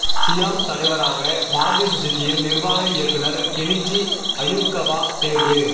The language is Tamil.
சியாம் தலைவராக மாருதி சுஸுகியின் நிா்வாக இயக்குநா் கெனிச்சி அயுகவா தோ்வு